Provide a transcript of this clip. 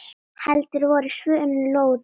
Heldur voru svörin loðin.